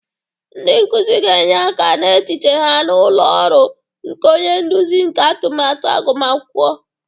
Ndị nkuzi ga-enye aka n'echiche ha na ụlọ ọrụ nke onye nduzi nke atụmatụ agụmakwụkwọ.